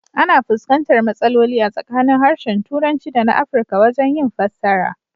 Ana fuskantar matsaloli a tsakanin harshen Turanci dana Afrika wajen yin fassara.